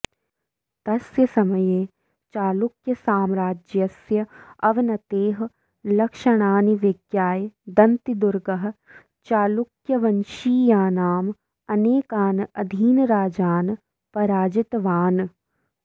तस्य समये चालुक्यसाम्राज्यस्य अवनतेः लक्षणानि विज्ञाय दन्तिदुर्गः चालुक्यवंशीयानाम् अनेकान् अधीनराजान् पराजितवान्